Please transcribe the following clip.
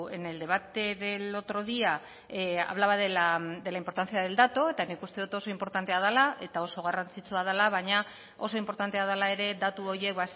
en el debate del otro día hablaba de la importancia del dato eta nik uste dut oso inportantea dela eta oso garrantzitsua dela baina oso inportantea dela ere datu horiek